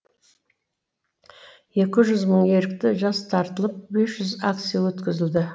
екі жүз мың ерікті жас тартылып бес жүз акция өткізілді